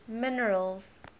minerals